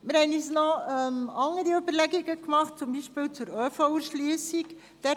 Wir haben uns noch Überlegungen zur ÖV-Erschliessung gemacht.